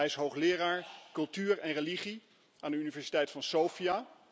Hij is hoogleraar cultuur en religie aan de universiteit van Sofia.